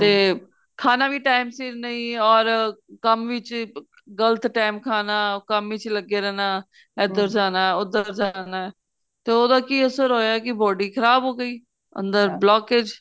ਤੇ ਖਾਣਾ ਵੀ time ਸਿਰ ਨਹੀਂ or ਕੰਮ ਵਿੱਚ ਗਲਤ time ਖਾਣਾ ਕੰਮ ਵਿੱਚ ਲੱਗੇ ਰਹਿਣਾ ਇੱਧਰ ਜਾਣਾ ਉੱਧਰ ਜਾਣਾ ਤੇ ਉਹਦਾ ਕੀ ਅਸਰ ਹੋਇਆ ਕੀ body ਖ਼ਰਾਬ ਓ ਗਈ ਅੰਦਰ blockage